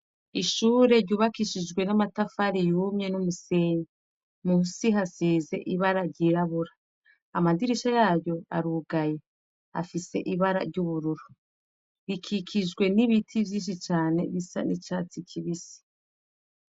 Ishure ryubakishijwe n'amatafari yumye n'umusenyi musi hasize ibara ryirabura amadirisha yayo arugaye afise ibara ry'ubururu rikikijwe n'ibiti vyinshi cane bisa n'icatsi kibisi.